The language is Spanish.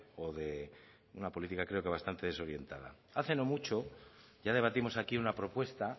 o de una política creo que bastante desorientada hace no mucho ya debatimos aquí una propuesta